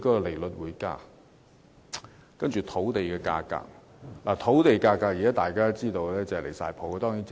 大家都知道，現時土地價格已升至離譜的水平。